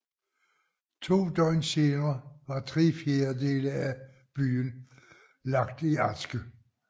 To døgn senere var tre fjerdedele af byen lagt i aske